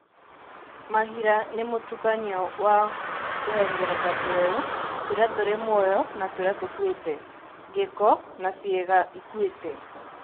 Mahira nĩ mũtukanio wa tũhengereta tũerũ tũrĩa tũrĩ mũoyo na tũrĩa tũkuĩte, gĩko na ciĩga ikuĩte.